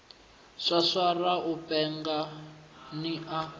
swaswara u penga ni a